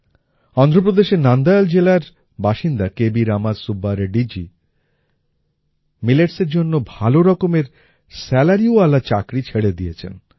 অন্ধ্রপ্রদেশের নানদয়াল জেলার বাসিন্দা কে বি রামা সুব্বা রেড্ডিজি milletsএর জন্য ভাল রকমের salaryওয়ালা চাকরি ছেড়ে দিয়েছেন